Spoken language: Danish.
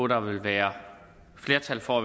der vil være flertal for